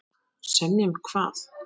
Semja um hvað?